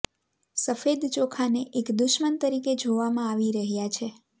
સફેદ ચોખાને એક દુશ્મન તરીકે જોવામાં આવી રહ્યા છે